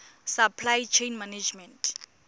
supply chain management